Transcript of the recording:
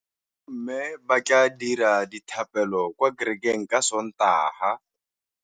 Bommê ba tla dira dithapêlô kwa kerekeng ka Sontaga.